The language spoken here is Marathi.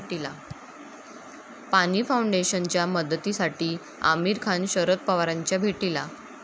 पाणी फाऊंडेशनच्या मदतीसाठी आमिर खान शरद पवारांच्या भेटीला